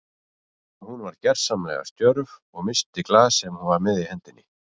Hún varð gersamlega stjörf og missti glas sem hún var með í hendinni.